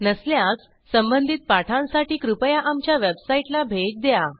नसल्यास संबंधित पाठांसाठी कृपया आमच्या वेबसाईटला भेट द्या